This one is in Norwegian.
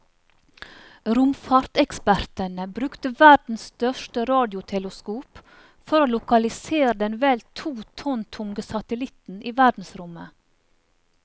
Romfartsekspertene brukte verdens største radioteleskop for å lokalisere den vel to tonn tunge satellitten i verdensrommet.